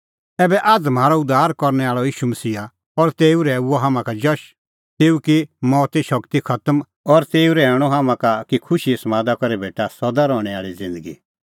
ऐबै आअ म्हारअ उद्धार करनै आल़अ ईशू मसीहा और तेऊ रहैऊअ हाम्हां का जश तेऊ की मौते शगती खतम और तेऊ रहैऊअ हाम्हां का कि खुशीए समादा करै भेटा सदा रहणैं आल़ी ज़िन्दगी